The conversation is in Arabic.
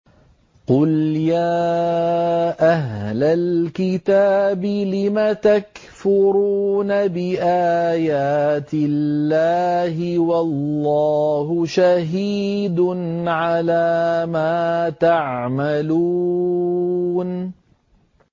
قُلْ يَا أَهْلَ الْكِتَابِ لِمَ تَكْفُرُونَ بِآيَاتِ اللَّهِ وَاللَّهُ شَهِيدٌ عَلَىٰ مَا تَعْمَلُونَ